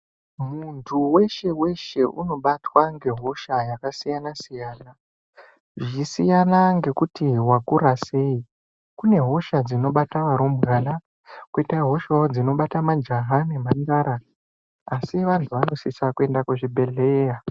Muntu weshe weshe unobatwa ngehosha yakasiyana siyana zvisiyana nekuti wakura sei kune hosha dzinobata varumbwana koitawo hosha dzinobata majaha nemhandara asi vantu vanosisa kuenda kuzvibhedhlera